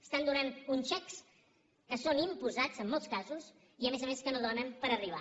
estan donant uns xecs que són imposats en molts casos i a més a més que no donen per arribar